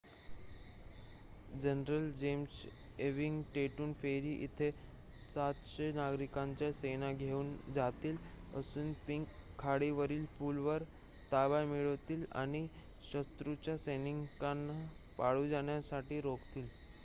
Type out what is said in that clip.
general James Ewing Trenton ferry येथे ७०० नागरिकांची सेना घेऊन जातील असुनपिंक खाडीवरील पूलवर ताबा मिळवतील आणि शत्रूच्या सैनिकांना पळून जाण्यापासून रोखतील